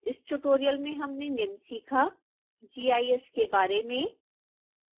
इस ट्यूटोरियल में हमने निम्न सीखा gis के बारे में